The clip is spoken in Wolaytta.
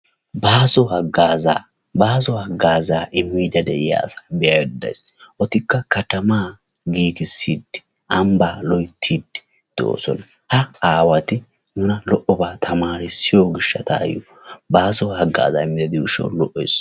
Baaso hagazaa, baaso hagazaa immide de'iyaa asa be"aydda days. Etikka katamaa giigisside ambba loyttide doosona. Ha aawati nuna lo"oba tamarissiyo gishshatayo baaso hagaaza immidi de'iyo gishshawu lo"ees.